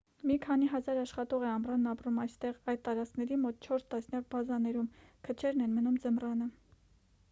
մի քանի հազար աշխատող է ամռանն ապրում այստեղ այդ տարածքների մոտ չորս տասնյակ բազաներում քչերն են մնում ձմռանը